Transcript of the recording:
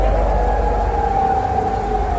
Əşhədü ənnə Muhammədən Rəsulullah.